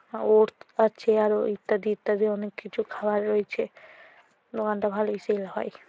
ওরত আছে আরো ইত্যাদি ইত্যাদি অনেক কিছু খাবার রয়েছে দোকান তা ভালোই সেল হয়।